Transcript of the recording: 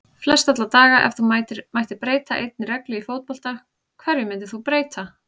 Flest alla daga Ef þú mættir breyta einni reglu í fótbolta, hverju myndir þú breyta?